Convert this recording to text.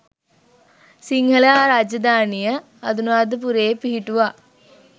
සිංහල රාජධානිය අනුරාධපුරයේ පිහිටුවා